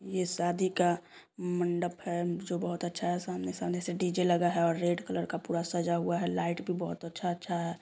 ये शादी का मंडप है जो बहुत अच्छा है सामने-सामने से डी_जे लगा है और रेड कलर से पूरा सजा हुआ है लाइट भी बहुत अच्छा-अच्छा है।